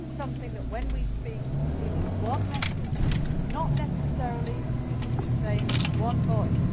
It means something that when we speak it is one message, not necessarily as people keep saying one voice.